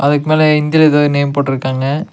அதுக்கு மேல ஹிந்தில எதோ நேம் போட்ருக்காங்க.